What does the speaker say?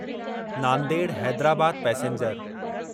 Nanded Hyderabad passenger